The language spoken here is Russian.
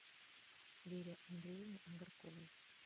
вере андреевне агарковой